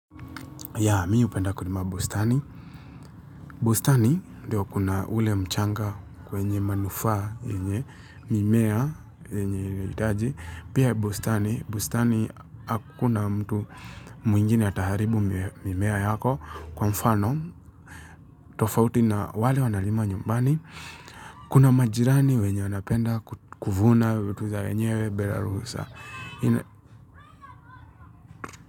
Ya, mi hupenda kulima bustani. Bustani, ndio kuna ule mchanga wenye manufaa, yenye mimea huitaji. Pia bustani, bustani, hakuna mtu mwingine ataharibu mimea yako. Kwa mfano, tofauti na wale wanalima nyumbani, kuna majirani wenye wanapenda kuvuna vitu za wenyewe bila ruhusa.